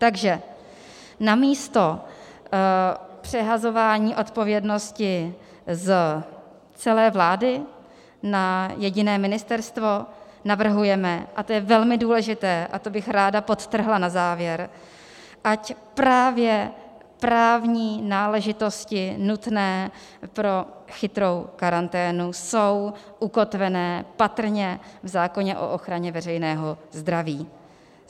Takže namísto přehazování odpovědnosti z celé vlády na jediné ministerstvo navrhujeme - a to je velmi důležité, a to bych ráda podtrhla na závěr - ať právě právní náležitosti nutné pro chytrou karanténu jsou ukotvené patrně v zákoně o ochraně veřejného zdraví.